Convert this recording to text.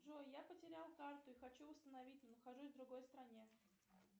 джой я потерял карту и хочу восстановить но нахожусь в другой стране